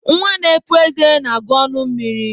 Nwa n'epụ eze na-agu ọnụ mmiri.